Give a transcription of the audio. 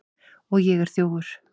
Og ég er þjófur.